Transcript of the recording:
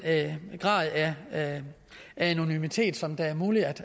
grad af anonymitet som der er mulighed